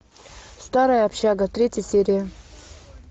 старая общага третья серия